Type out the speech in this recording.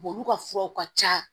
olu ka furaw ka ca